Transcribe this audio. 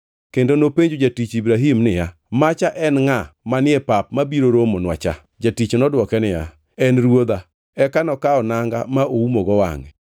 kendo nopenjo jatich Ibrahim niya, “Macha en ngʼa manie pap mabiro romonwa cha?” Jatich nodwoke niya, “En ruodha.” Eka nokawo nanga ma oumogo wangʼe.